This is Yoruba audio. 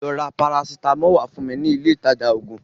Lọ ra parasitamọli wá fún mi ní ilé ìtajà ògùn